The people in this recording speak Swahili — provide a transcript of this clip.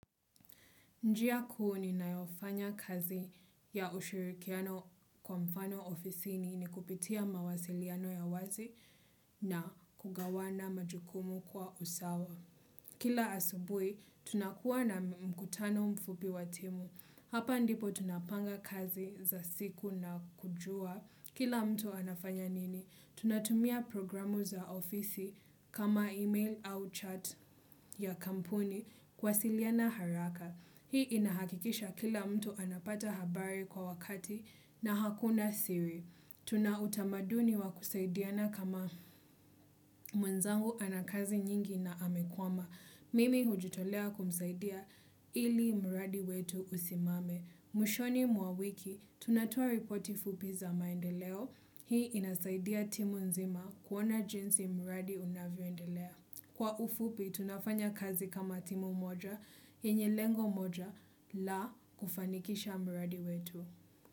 Njia kuu ni nayofanya kazi ya ushirikiano kwa mfano ofisi ni ni kupitia mawasiliano ya wazi na kugawana majukumu kwa usawa. Kila asubui, tunakuwa na mkutano mfupi watimu. Hapa ndipo tunapanga kazi za siku na kujua. Kila mtu anafanya nini, tunatumia programu za ofisi kama email au chat ya kampuni kuwasiliana haraka. Hii inahakikisha kila mtu anapata habari kwa wakati na hakuna siri. Tuna utamaduni wa kusaidiana kama mwenzangu anakazi nyingi na amekwama. Mimi hujitolea kumsaidia ili mradi wetu usimame. Mwishoni mwa wiki, tunatoa ripoti fupi za maendeleo. Hii inasaidia timu nzima kuona jinsi mradi unavyoendelea. Kwa ufupi, tunafanya kazi kama timu moja, yenye lengo moja, la kufanikisha mradi wetu.